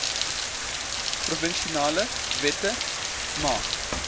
provinsiale wette maak